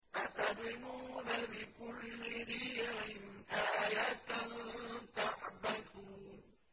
أَتَبْنُونَ بِكُلِّ رِيعٍ آيَةً تَعْبَثُونَ